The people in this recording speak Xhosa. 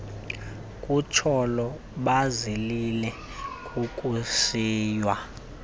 kutsolo bazilile kukushiywa